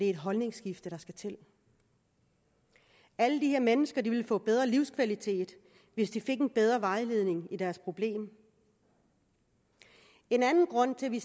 et holdningsskifte der skal til alle de her mennesker ville få bedre livskvalitet hvis de fik en bedre vejledning i deres problem en anden grund til at vi